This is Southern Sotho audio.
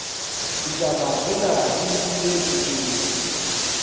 ditaba tsena di nkilwe thutong